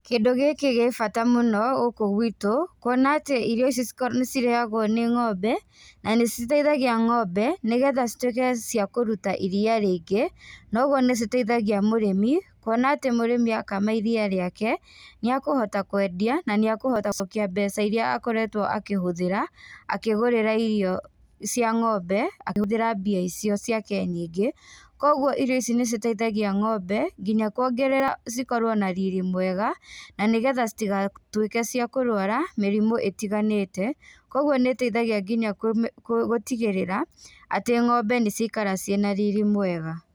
Kĩndũ gĩkĩ gĩ bata mũno, gũkũ gwitũ, kuona atĩ irio ici nĩcirĩagwo nĩ ngombe, na nĩciteithagia ngombe, nĩgetha cituĩke cia kũruta iria rĩingĩ, na ũguo nĩciteithagia mũrĩmi, kuona atĩ mũrĩmi akama iria rĩake, nĩakũhota kwendia na nĩakũhota gũcokia mbeca iria akoretwo akĩhũthĩra, akĩgũrĩra irio cia ng'ombe, akĩhũthĩra mbia icio ciake nyingĩ, koguo irio ici nĩciteithagia ng'ombe nginya kuongerera cikorwo na riri mwega, na nĩgetha citigatuĩke cia kũrwara mĩrimũ ĩtiganaĩte, koguo nĩ ĩteithagia nginya kũmĩ kũ gũtigĩrĩra, atĩ ng'ombe nĩciaikara ciĩna riri mwega.